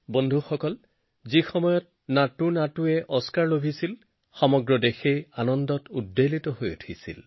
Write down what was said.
বন্ধুসকল এইবাৰ নাটুনাটুৱে অস্কাৰ লাভ কৰিলে যাৰ বাবে সমগ্ৰ দেশবাসী আনন্দত মতলীয়া হল